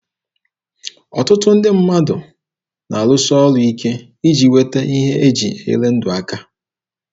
Ọtụtụ ndị mmadụ na-arụsi ọrụ ike iji nweta ihe e ji enyere ndụ aka.